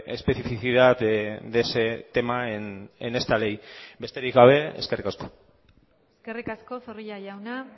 especificidad de ese tema en esta ley besterik gabe eskerrik asko eskerrik asko zorrilla jauna